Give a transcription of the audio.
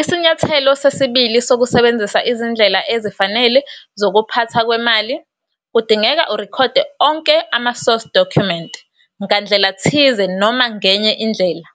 Isinyathelo sesibili sokusebenzisa izindlela ezifanele zokuphathwa kwemali kudingeka urekhode onke ama - source document ngandlela thize noma ngenye indlela.